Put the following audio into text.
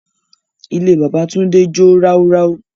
Ilé bábà Túndé jó ráúráú.